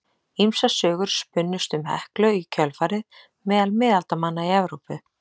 Ýmsar sögur spunnust um Heklu í kjölfarið meðal miðaldamanna í Evrópu.